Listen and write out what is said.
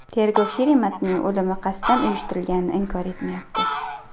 Tergov Sheremetning o‘limi qasddan uyushtirilganini inkor etmayapti.